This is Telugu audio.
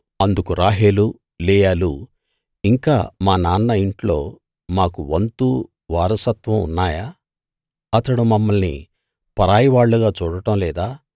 అందుకు రాహేలు లేయాలు ఇంకా మా నాన్న ఇంట్లో మాకు వంతు వారసత్వం ఉన్నాయా అతడు మమ్మల్ని పరాయివాళ్ళుగా చూడడం లేదా